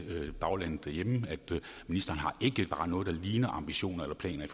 baglandet derhjemme at ministeren ikke har noget der bare ligner ambitioner